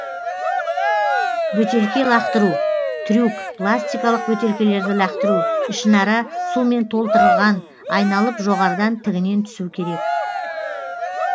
бөтелке лақтыру трюк пластикалық бөтелкелерді лақтыру ішінара сумен толтырылған айналып жоғарыдан тігінен түсу керек